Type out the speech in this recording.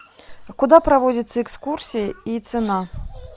куда проводятся экскурсии и цена